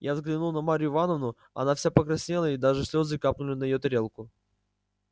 я взглянул на марью ивановну она вся покраснела и даже слезы капнули на её тарелку